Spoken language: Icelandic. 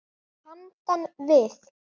Handan við